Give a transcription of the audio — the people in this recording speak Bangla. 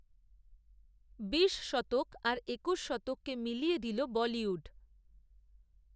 বিশ শতক, আর একূশ শতককে মিলিয়ে দিল বলিউড